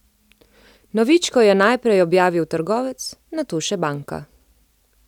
Novičko je najprej objavil trgovec, nato še banka.